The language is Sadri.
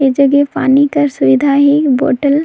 इ जगे पानी कर सुविधा है बोतल --